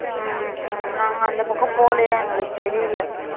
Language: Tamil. ம் ம் நாங்க அந்த பக்கம் போலையா எங்களுக்கு தெரியல